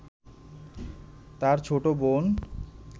তার ছোট বোন